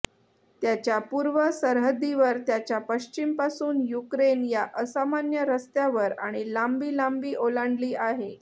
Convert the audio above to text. त्याच्या पूर्व सरहद्दीवर त्याच्या पश्चिम पासून युक्रेन या असामान्य रस्त्यावर आणि लांबी लांबी ओलांडली आहे